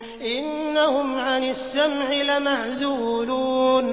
إِنَّهُمْ عَنِ السَّمْعِ لَمَعْزُولُونَ